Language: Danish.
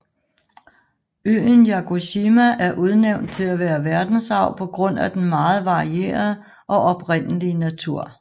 Øen Yakushima er udnævnt til at være verdensarv på grund af den meget variarede og oprindelige natur